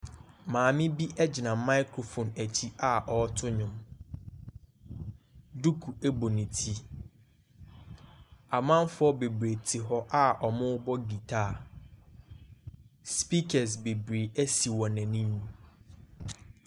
Maame bi gyina microphone akyi a ɔreto nnwom. Duku bɔ ne ti. Amanfoɔ bebree te hɔ a wɔrebɔ dwetae. Speakers bebree si wɔn anim.